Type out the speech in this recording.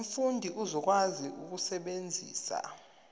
umfundi uzokwazi ukusebenzisa